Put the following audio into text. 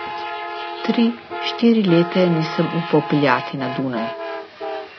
Tri, štiri leta je nisem upal peljati na Dunaj.